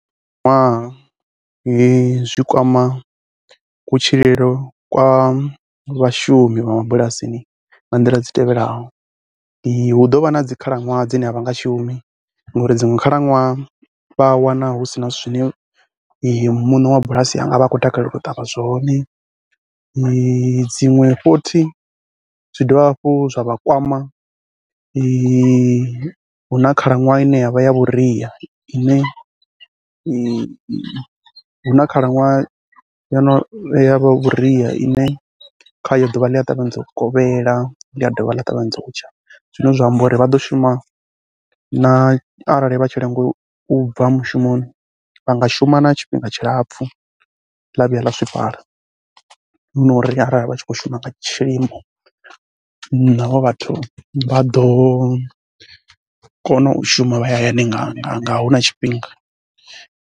Ṅwaha zwi kwama kutshilele kwa vhashumi vha mabulasini nga nḓila dzi tevhelaho, hu ḓo vha na dzi khalaṅwaha dzine a vha nga shumi ngauri dziṅwe khalaṅwaha vha a wana hu si na zwithu zwine muṋe wa bulasi a nga vha a khou takalela u ṱavha zwone. Dziṅwe futhi, zwi dovha hafhu zwa vha kwama hu na khalaṅwaha ine ya vha ya vhuria ine, hu na khalaṅwaha ya vhuria ine khayo ḓuvha ḽi a ṱavhanyedza u kovhela, ḽi dovha ḽa ṱavhanyedza u tsha zwine zwa amba uri vha ḓo shuma na arali vha tshi lenga u bva mushumoni vha nga shuma na tshifhinga tshilapfhu ḽa vhuya ḽa zwifhala hu no ri arali vha tshi khou shuma nga tshilimo naho vhathu vha ḓo kona u shuma vha ya hayani nga nga nga hu na tshifhinga.